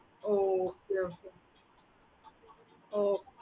okay mam